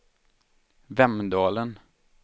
Vemdalen